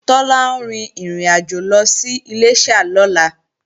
Tọ́lá ń rin ìrìnàjò lọ sí Iléṣà lọ́la